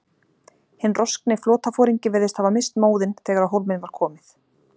Hinn roskni flotaforingi virðist hafa misst móðinn, þegar á hólminn var komið.